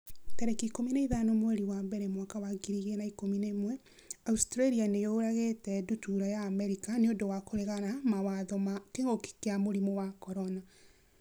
tarĩki ikũmi na ithano mweri wa mbere mwaka wa ngiri igĩrĩ na ikũmi na ĩmweAustralia nĩ yũragĩte ndutura ya Amerika 'nĩ ũndũ wa kũregana mawatho ma kĩngũki kia mũrimũ wa CORONA